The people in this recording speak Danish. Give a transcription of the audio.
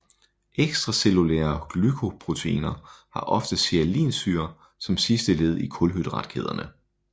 Extracellulære glycoproteiner har ofte sialinsyre som sidste led i kulhydratkæderne